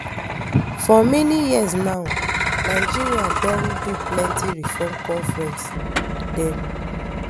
for many years now nigeria don do plenty reform conference dem